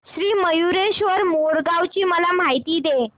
श्री मयूरेश्वर मोरगाव ची मला माहिती दे